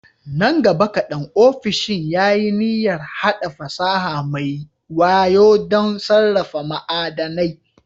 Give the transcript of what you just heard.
Nan gaba kaɗan, ofishin ya yi niyyar haɗa fasaha mai wayo don sarrafa ma'adanai.